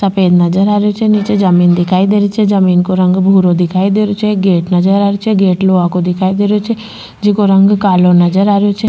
सफ़ेद नजर आ रहियो छे नीचे जमीन दिखाई दे रही छे जमीन को रंग भूरो दिखाई दे रहियो छे एक गेट नजर आ रही छे गेट लोहा की दिखाई दे रहियो छे जेको रंग कालो नजर आ रहियो छे।